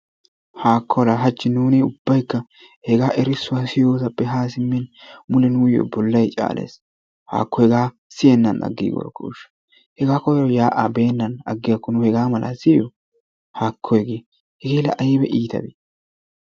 Haakkola la hachchi nuuni ubbaykka hegaa erissuwaa siyossappe ha simmin mule nuuyo bollay caallees, haakko hegaa siyenaan agiigorkkosha hegaa koyro yaa'aa beenaan agiyakko nu hegaa mala siyoo hakko hegee hege la ayba ittabee?